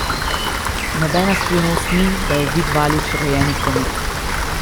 Nobena skrivnost ni, da je Vid Valič rojeni komik.